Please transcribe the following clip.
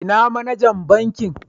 lna manajan bankin?